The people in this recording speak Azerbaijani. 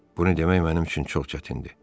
Bunu demək mənim üçün çox çətindir.